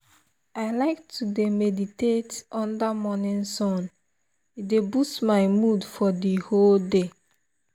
i like to dey meditate under morning sun e dey boost my mood for the whole day.